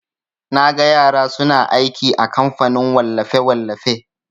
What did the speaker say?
Naga yara suna aiki a kamfanin wallafe-wallafe.